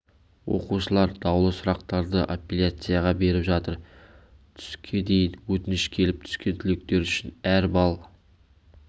оқушылар даулы сұрақтарды апелляцияға беріп жатыр түске дейін өтініш келіп түскен түлектер үшін әр балл